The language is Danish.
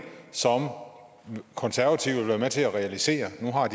som konservative vil være med til at realisere nu har